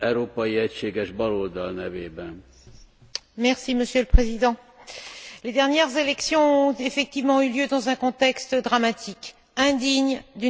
Monsieur le Président, les dernières élections ont effectivement eu lieu dans un contexte dramatique, indigne d'une démocratie, même naissante, Madame la Haute représentante.